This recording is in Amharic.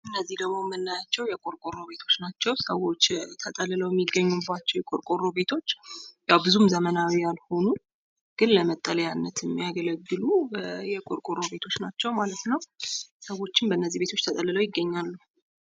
እነዚህ ደሞ የምናያቸው የቆርቆሮ ቤቶቾ ናቸው። ሰዎች ተጠልለው የሚገኙባቸው የቆርቆሮ ቤቶች ብዙም ዘመናዊ ያልሆኑ ግን ለመጠለያነት የሚያገለግሉ የቆርቆሮ ቤቶች ናቸው ማለት ነው። ሰዎችም በነዚህ ቤቶች ተጠልለው ይገኛሉ።